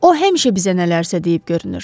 O həmişə bizə nələrsə deyib görünür.